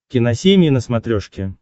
киносемья на смотрешке